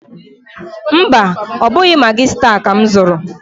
Mba, ọ bụghị Magị staa ka m zụrụ.